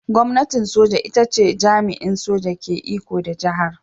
Gwamnatin soja ita ce jami'in soja ke iko da jihar.